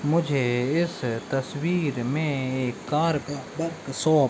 मुझे इस तस्वीर में एक कार का बर्कशॉप --